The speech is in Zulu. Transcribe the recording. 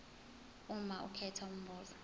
uma ukhetha umbuzo